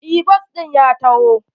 Eh bas ɗin ya taho.